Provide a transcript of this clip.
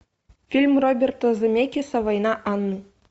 фильм роберта земекиса война анны